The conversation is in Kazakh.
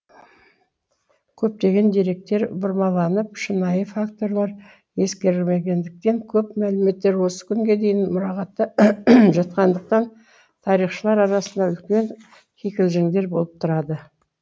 көптеген деректер бұрмаланып шынайы факторлар ескерілмегендіктен көп мәліметтер осы күнге дейін мұрағатта жатқандықтан тарихшылар арасында үлкен кикілжіңдер болып тұрады